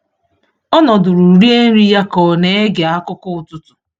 Ọ nọdụrụ rie nri ya ka ọ na-ege akụkọ ụtụtụ.